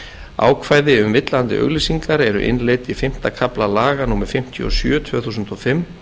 ákvæði um villandi auglýsingar eru innleidd í fimmta kafla laga númer fimmtíu og sjö tvö þúsund og fimm